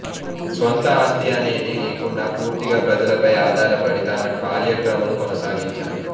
స్వంత ఆస్తి అనేది లేకుండా పూర్తిగా ప్రజలపై ఆధారపడి తన కార్యక్రమాలు కొనసాగించారు